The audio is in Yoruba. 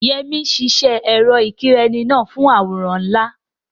Yemi ṣiṣẹ́ ẹ̀rọ ìkẹ́rẹ́nì náà fún àwòrán ńlá.